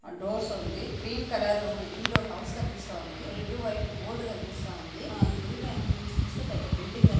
ఇది dark colour doors ఉంది. Cream colour ఇండ్లు హౌస్ కనిపిస్తుంది. Red white board --